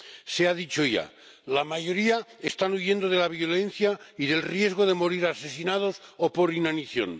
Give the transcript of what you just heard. Se ha dicho ya la mayoría están huyendo de la violencia y del riesgo de morir asesinados o por inanición.